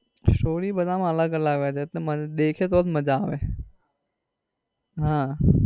story બધા માં અલગ અલગ હોય છે એટલે દેખીએ તો જ મજા આવે.